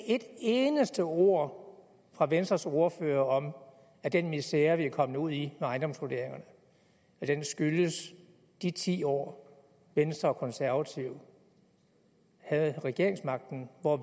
et eneste ord fra venstres ordfører om at den misere vi er kommet ud i med ejendomsvurderingerne skyldes de ti år hvor venstre og konservative havde regeringsmagten og